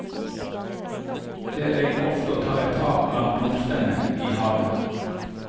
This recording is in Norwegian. Der er jeg ofte og tar et tak blant blomstene i haven.